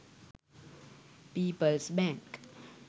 peoples bank